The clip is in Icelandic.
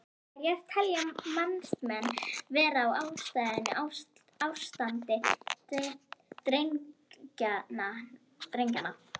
Hverjar telja matsmenn vera ástæður ástands drenlagnanna?